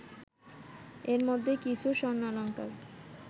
এর মধ্যে কিছু স্বর্ণালঙ্কার